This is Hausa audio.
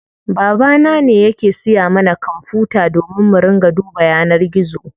Baba na ne yake siya mana kwanfuta domin mu ringa duba yanar gizo.